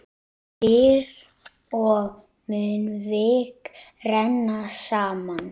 Dyr og munnvik renna saman.